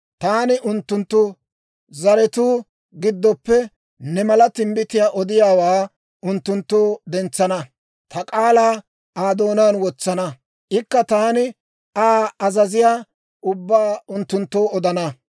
Taani unttunttu zaratuu giddoppe, ne mala timbbitiyaa odiyaawaa unttunttoo dentsana; ta k'aalaa Aa doonaan wotsana; ikka taani Aa azaziyaa ubbaa unttunttoo odana.